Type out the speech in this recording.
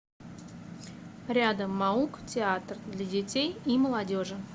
рядом маук театр для детей и молодежи